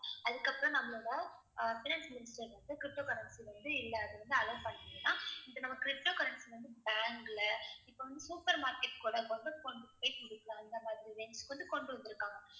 அதுக்கப்புறம் நம்மளோட அஹ் Finance Minister வந்து ptocurrency வந்து இல்ல அது வந்து allow பண்ணீங்கன்னா இந்த நம்ம ptocurrency வந்து bank ல இப்ப வந்து supermarket கூடக் கொண்டு கொண்டு போய்க் கொடுக்கலாம். அந்த மாதிரி range க்கு வந்து கொண்டு வந்துருக்காங்க.